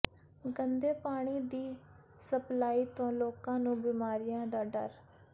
ਗੰਦੇ ਪਾਣੀ ਦੀ ਸਪਲਾਈ ਤੋਂ ਲੋਕਾਂ ਨੂੰ ਬਿਮਾਰੀਆਂ ਦਾ ਡਰ